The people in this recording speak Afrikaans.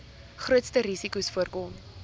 grootste risikos voorkom